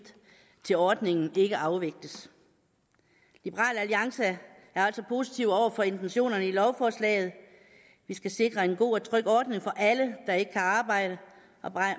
til ordningen ikke afvikles liberal alliance er altså positiv over for intentionerne i lovforslaget vi skal sikre en god og tryg ordning for alle der ikke kan arbejde